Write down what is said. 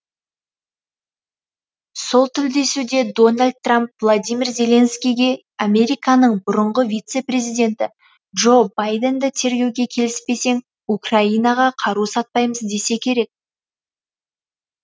сол тілдесуде дональд трамп владимир зеленскийге американың бұрынғы вице президенті джо байденді тергеуге келіспесең украинаға қару сатпаймыз десе керек